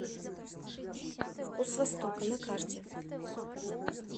вкус востока на карте